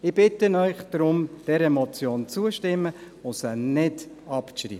Ich bitte Sie deshalb, dieser Motion zuzustimmen und sie nicht abzuschreiben.